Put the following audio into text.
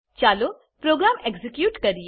ચાલો programme execute કરીએ